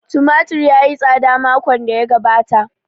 Tumatir ya yi tsada makon da ya gabata